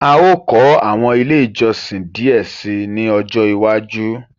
A o kọ awọn ile ìjọsìn díẹ síi ní ọjọ iwájú